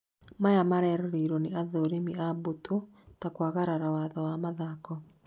maya mareroreirwo nĩ athũrimi a mbũtũ ta kwagarara watho wa mathako